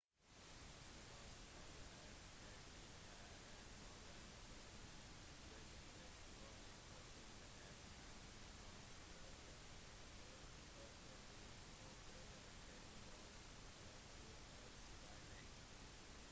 på tross av at det ikke er et moderne fenomen vil de fleste trolig forbinde det med ungdomshærverk på offentlig og privat eiendom ved bruk av spraylakk